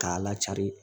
K'a lacari